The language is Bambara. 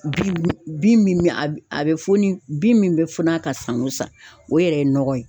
Bin bin a bɛ foni bin min bɛ funu ka san o san, o yɛrɛ ye nɔgɔ ye.